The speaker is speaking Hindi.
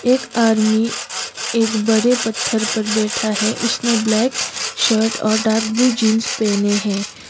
एक आर्मी एक बड़े पत्थर पर बैठा है उसने ब्लैक शर्ट और डार्क ब्लू जीन्स पेहने हैं।